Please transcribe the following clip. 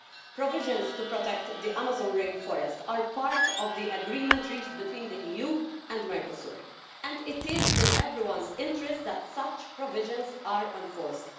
Provisions to protect the Amazon rainforest are part of the agreement reached between the EU and Mercosur, and it is in everyone's interest that such provisions are enforced.